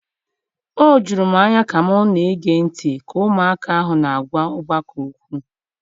O juru m anya ka m na-ege ntị ka ụmụaka ahụ na-agwa ọgbakọ okwu.